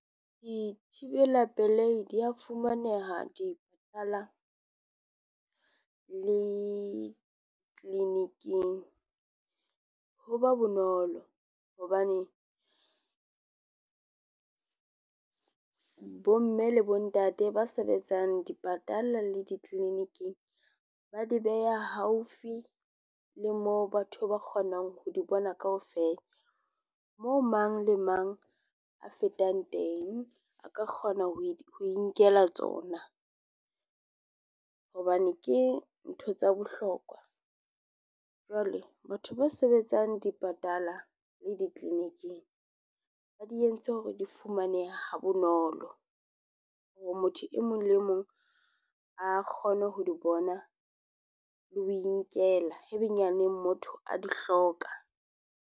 Dithibela pelehi di a fumaneha di le clinic-ing. Ho ba bonolo hobane bomme le bontate ba sebetsang dipatala le di-clinic-ing. Ba di beha haufi le moo batho ba kgonang ho di bona kaofela. Moo mang le mang a fetang teng, a ka kgona ho inkela tsona. Hobane ke ntho tsa bohlokwa. Jwale batho ba sebetsang di patala le di-clinic-ing, ba di entse hore di fumanehe ha bonolo. Hore motho e mong le mong a kgone ho di bona, le ho inkela. Haebenyaneng motho a di hloka.